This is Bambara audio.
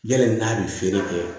Yali n'a bɛ feere kɛ